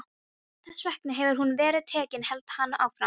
Þess vegna hefur hún verið tekin, hélt hann áfram.